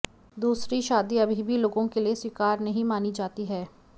दूसरी शादी अभी भी लोगों के लिए स्वीकार नहीं मानी जाती है